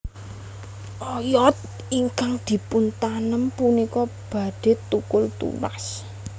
Oyod ingkang dipuntanem punika badhe thukul tunas